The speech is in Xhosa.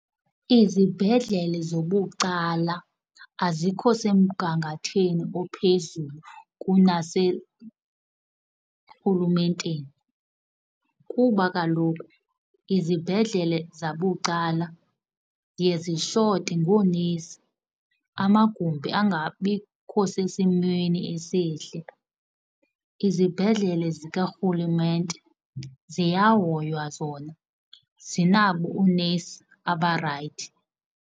Izibhedlele zobucala azikho semgangathweni ophezulu kunaserhulumenteni kuba kaloku izibhedlele zabucala ziye zishote ngoonesi, amagumbi angabikho sesimweni esihle. Izibhedlele zikarhulumenete ziyahoywa zona zinabo oonesi abarayithi.